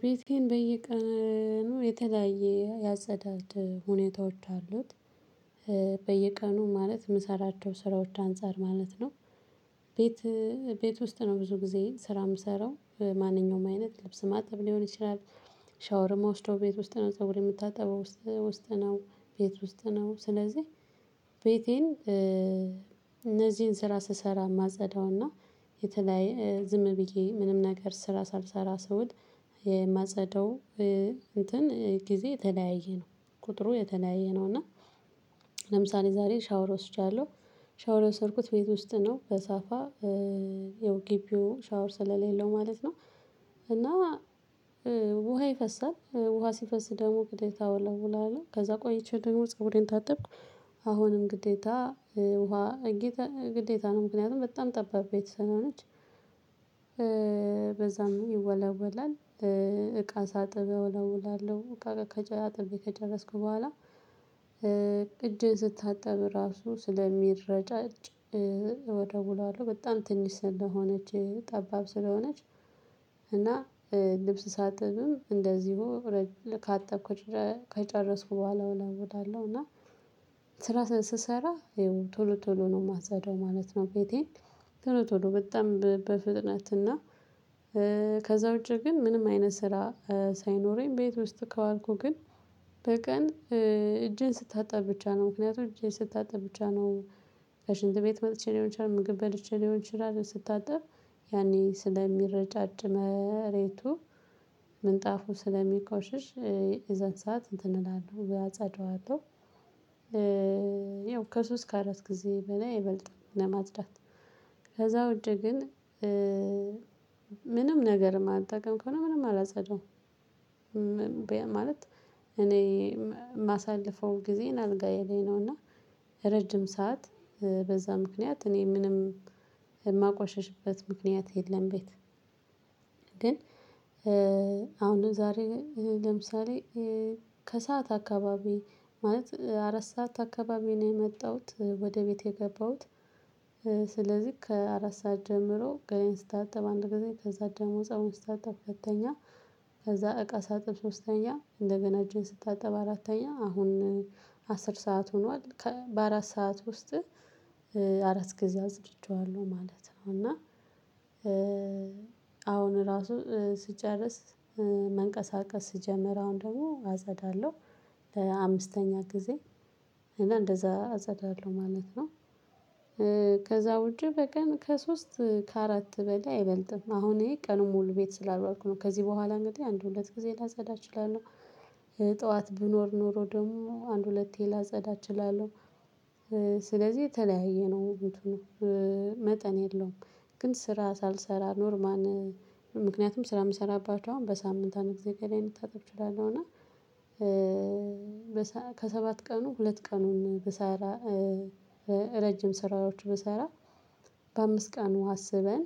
ቤቴን በየቀኑ የተለያየ ያጸዳድ ሁኔታዎች አሉት። በየቀኑ ማለት የምሰራቸው ስራዎች አንፃር ማለት ነው። ቤት ቤት ውስጥ ነው ብዙ ጊዜ ስራ የምሰራው ማንኛውም አይነት ልብስ ማጠብ ሊሆን ይችላል። ሻወር እምወስደው ቤት ውስጥ ነው ፀጉሬን የምታጠበው ውስጥ ነው ቤት ውስጥ ነው። ስለዚህ ቤቴን እነዚህን ስራ ስሰራ ማጸዳውና የተለያየ ዝም ብዬ ምንም ነገር ስራ ሳልሰራ ሰውል የማጸደው እንትን ጊዜ የተለያየ ነው። ቁጥሩ የተለያየ ነው። እና ለምሳሌ ዛሬ ሻውር ወስጃለሁ። ሻውር የወሰድኩት ቤት ውስጥ ነው በሳፋ ያው ግቢው ሻውር ስለሌለው ማለት ነው። እና ውሃ ይፈሳል ውሃ ሲፈስ ደግሞ ግዴታ እወለውለዋለሁ ከዛ ቆይቼ ደግሞ ፀጉሬን ታጠብኩ። አሁንም ግዴታ ውሃ ግዴታ ነው ምክንያቱም በጣም ጠባብ ቤት ስለሆነች። በዛም ይወለወላል እቃ ሳጥብ እወለውላለሁ አጥቤ ከጨረስኩ በኋላ። እጄን ስታጠብ ራሱ ስለሚረጫጭ እወለውላለሁ በጣም ትንሽ ስለሆነች ጠባብ ስለሆነች። እና ልብስ ሳጥብም እንደዚሁ ካጠብኩት ከጨረስኩ በኋላ እወለውለዋለሁ። እና ስራ ስሰራ ይሄው ቶሉ ቶሉ ነው የማጸዳው ማለት ነው። ቤቴ ቶሎ ቶሎ በጣም በፍጥነት እና ከዛ ውጪ ግን ምንም አይነት ስራ ሳይኖረኝ ቤት ውስጥ ከዋልኩ ግን። በቀን እጄን ስታጠብ ብቻ ነው ምክንያቱም እጄን ስታጠብ ብቻ ነው። ከሽንት ቤት መጥቼ ሊሆን ይችላል ምግብ በልቼ ሊሆን ይችላል ስታጠብ ያኔ ስለሚረጫጭ መሬቱ ምንጣፉ ስለሚቆሽሽ የዛን ሰዓት እንትን እንላለሁ እጸዳዋለሁ። ያው ከሶስት ከአራት ጊዜ በላይ አይበልጥም። ለማጽዳት ከዛ ውጪ ግን ምንም ነገር የማልጠቀም ከሆነ ምንም አላጸዳውም። ማለት እኔ የማሳልፈው ጊዜን አልጋዬ ላይ ነው እና ረጅም ሰዓት በዛ ምክንያት እኔ ምንም የማቆሸሽበት ምክንያት የለም። ቤት ግን አሁን ዛሬ ለምሳሌ ከሰአት አካባቢ ማለት አራት ሰዓት አካባቢ ነው የመጣሁት ወደ ቤት የገባሁት። ስለዚህ ከአራት ሰዓት ጀምሮ ገላየን ስታጠብ አንድ ጊዜ ከዛ ደግሞ ፀጉሬን ስታጠብ ሁለተኛ ከዛ እቃ ሳጥብ ሶስተኛ እንደገና እጄን ስታጠብ አራተኛ አሁን አስር ሰዓት ሆኗል በአራት ሰዓት ውስጥ አራት ጊዜ አጽድቸዋለሁ ማለት ነው። እና አሁን ራሱ ስጨርስ መንቀሳቀስ ስጀምር አሁን ደግሞ አጸዳለሁ ለአምስተኛ ጊዜ እና አንደዛ አጸዳለሁ ማለት ነው። ከዛ ውጪ በቀን ከሶስት ከአራት በላይ አይበልጥም አሁን ይሄ ቀኑን ሙሉ ቤት ስላልዋልሁ ነው ከዚህ በኋላ እንግዲህ አንድ ሁለት ጊዜ ላጸዳ እችላለሁ። ጠዋት ብኖር ኖሮ ደግሞ አንድ ሁለቴ ላጸዳ እችላለሁ። ስለዚህ የተለያየ ነው እንትኑ መጠን የለውም። ግን ስራ ሳልሰራ ኖርማን ምክንያቱም ስራ የምሰራባቸው አሁን በሳምንት አንድ ጊዜ ገላየን ልታጠብ እችላለሁ። እና ከሰባት ቀኑ ሁለት ቀኑን ብሰራ ረጅም ስራዎች ብሰራ በአምስት ቀኑ አስበን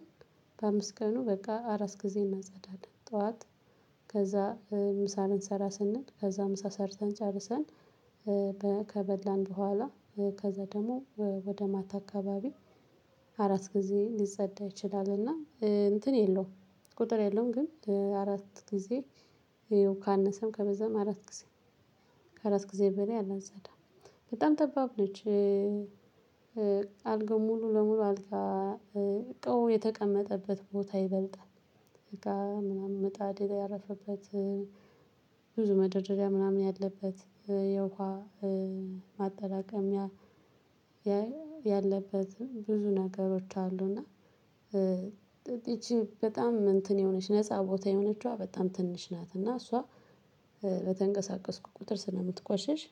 በአምስት ቀኑ በቃ አራት ጊዜ እናጸዳለን። ጠዋት ከዛ ምሳ ልንሰራ ስንል ከዛ ምሳ ሰርታን ጨርሰን ከበላን በኋላ ከዛ ደግሞ ወደ ማታ አካባቢ አራት ጊዜ ሊጸዳ ይችላልና እንትን የለውም። ቁጥር የለውም ግን አራት ጊዜ ካነሰም ከበዛም አራት ጊዜ ከአራት ጊዜ በላይ አላጸዳም። በጣም ጠባብ ነች። አልጋው ሙሉ ለሙሉ አልጋ እቃው የተቀመጠበት ቦታ ይበልጣል። እቃ ምናምን መጣድ ያረፈበት ብዙ መደርደሪያ ምናምን ያለበት የውሃ ማጠራቀሚያ ያ ያለበት ብዙ ነገሮች አሉ። እና ይች እንትን የሆነች ነፃ ቦታ የሆነችዋ በጣም ትንሽ ናት። እና እሷ በተንቀሳቀስኩ ቁጥር ስለምትቆሸሽ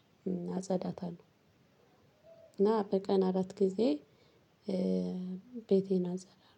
አጸዳታለሁ። እና በቀን አራት ጊዜ ቤቴን አጸዳለሁ